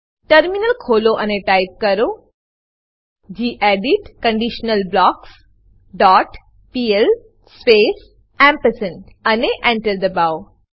terminal ખોલો અને type કરો gedit conditional blocks dot P L space અને Enter એન્ટર દબાવો